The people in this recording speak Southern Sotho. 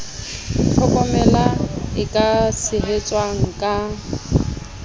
tlhokomela e ka tshehetswang ka